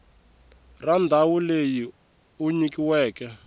ra ndhawu leyi u nyikiweke